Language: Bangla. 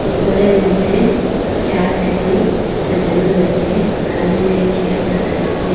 গরের মদ্যে চেয়ার টেবিল সাজানো রয়েসে লাল রঙ্গের চেয়ার দেখা যাচ্চে।